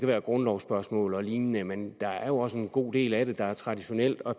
være grundlovsspørgsmål og lignende men der er jo også en god del af det der er traditionelt og